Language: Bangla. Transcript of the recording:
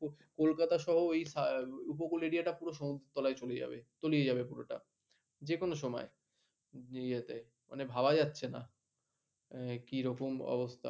কলকাতা সহ ওই উপকূল এরিয়াটা এই সমুদ্রতলায় চলে যাবে, তলিয়ে যাবে পুরোটা যে কোন সময় ইয়েতে মানে ভাবা যাচ্ছে না কিরকম অবস্থা।